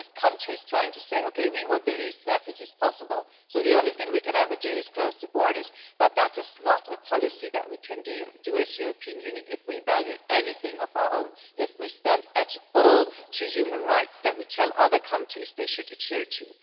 It is always countries trying to say that they want the lowest number of refugees possible so the only thing they can ever do is close the borders, but that is not a policy that we can carry out as the European Union if we value anything of our own and if we stand at all for the human rights that we tell other countries that they should adhere to.